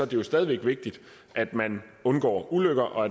det stadig væk vigtigt at man undgår ulykker og